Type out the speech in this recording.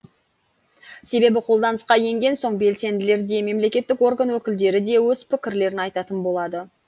себебі қолданысқа енген соң белсенділер де мемлекеттік орган өкілдері де өз пікірлерін айтатын болады